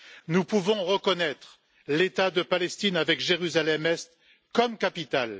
Nous pouvons reconnaître l'État de Palestine avec Jérusalem Est comme capitale.